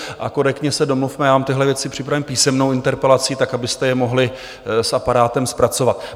A korektně se domluvme, já vám tyhle věci připravím písemnou interpelací tak, abyste je mohli s aparátem zpracovat.